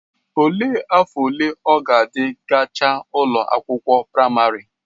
Olee afọ ole ọ gadi gachaa ụlọ akwụkwọ praịmarị?